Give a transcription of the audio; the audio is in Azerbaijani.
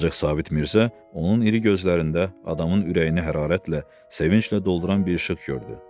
Ancaq Sabit Mirzə onun iri gözlərində adamın ürəyini hərarətlə, sevinclə dolduran bir işıq gördü.